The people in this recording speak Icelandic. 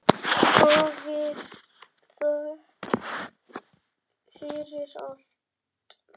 Hafið þökk fyrir allt.